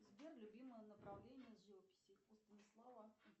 сбер любимое направление живописи у станислава